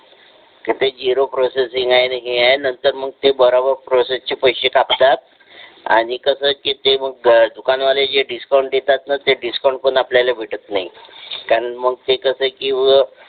तिथे zero processing आहे हे आहे ते आहे नंतर मग ते बरोबर प्रोसेस चे पैसे कापतात आणि कस असते ते मग दुकान वाले जे डिस्कॉउंट देतात ना ते डिस्काउंट पण आपल्याला भेटत नाही कारण मग ते कसा आहे की